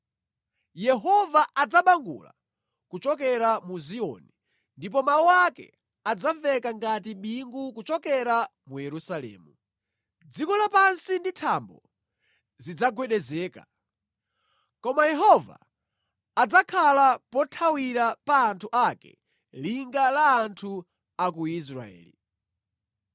Yehova adzabangula kuchokera mu Ziyoni ndipo mawu ake adzamveka ngati bingu kuchokera mu Yerusalemu; dziko lapansi ndi thambo zidzagwedezeka. Koma Yehova adzakhala pothawira pa anthu ake, linga la anthu a ku Israeli.